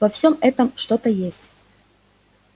во всем этом что-то есть